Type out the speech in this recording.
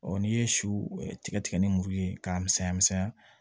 n'i ye siw tigɛ tigɛ ni muru ye k'a misɛnya misɛnya